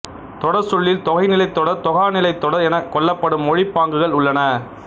தொடர்ச்சொல்லில் தொகைநிலைத் தொடர் தொகாநிலைத் தொடர் எனக் கொள்ளப்படும் மொழிப் பாங்குகள் உள்ளன